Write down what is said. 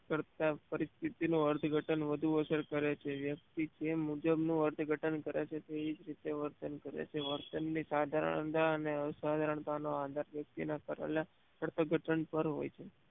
કરતા પરિસ્થિતિ નો અર્થઘટન વધુ અસર કરે છે વ્યક્તિ જે મુજબ નું અર્થઘટન કરે છે તેવી જ રીતે વર્તન કરે છે વર્તન ની સધારનતા અને અ સધારાનતા નો આધાર વ્યક્તિ ના કરેલા અર્થઘટન પર હોય છે